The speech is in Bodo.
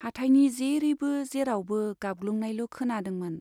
हाथाइनि जेरैबो जेरावबो गाबग्लुंनायल' खोनादोंमोन।